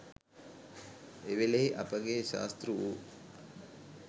එවේලෙහි අපගේ ශාස්තෘ වූ